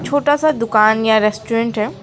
छोटा सा दुकान या रेस्टोरेंट है।